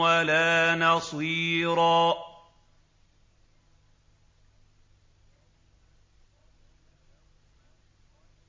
وَلَا نَصِيرًا